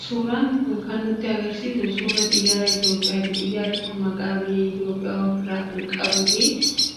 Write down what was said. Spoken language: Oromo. Suuraan kun kan nutti argisiisu suuraa xiyyaara Itoophiyaati. Xiyyaarri kun maqaa biyya Itoophiyaa ofirraa kan qabuu fi